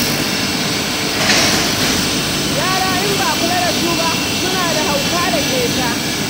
Yara in ba a kula da su ba, suna da hauka da ƙeta.